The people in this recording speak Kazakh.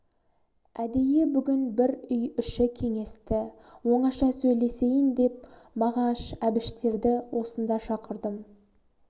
әдейі бүгін бір үй іші кеңесті оңаша сөйлесейін деп мағаш әбіштерді осында шақырдым